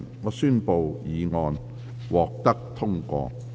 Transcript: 我宣布議案獲得通過。